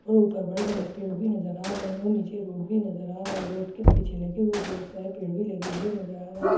और ऊपर बड़े-बड़े पेड़ भी नजर आ रहे हैं और नीचे रोड भी नजर आ रहा है रोड के पीछे लगे हुए बहोत सारे पेड़ भी लगे हुई नजर आ रहे है।